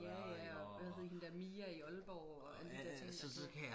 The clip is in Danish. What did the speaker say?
Ja ja og hvad hed hende dér Mia i Aalborg og alle de dér ting der